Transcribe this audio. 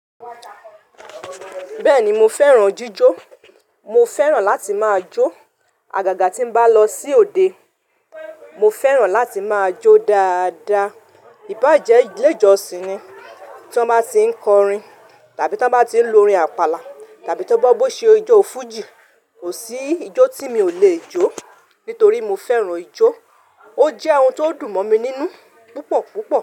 Bẹ́ẹ̀ni mo fẹ́ràn jíjó. Mo fẹ́ràn láti máa jó. Àgàgà tí ń bá lọ sí òde, mo fẹ́ràn láti máa jó dáadáa. Íbàjẹ́ Ilé-ìjọsìn ni tí wọ́n bá tí ń kọrin, tàbí tí wọ́n bá tí ń lo orin àpàlà, tàbí tí Ọba Ọbọ ṣe ijó fújì, ò sí ijó tí mi ò lè jó, nítorí mo fẹ́ràn ijó. Ó jẹ́ ohun tó dùn mọ́ mi nínú púpọ̀ púpọ̀